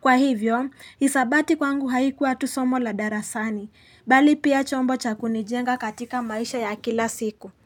Kwa hivyo, hisabati kwangu haikuwa tusomo la darasani Bali pia chombo cha kunijenga katika maisha ya kila siku.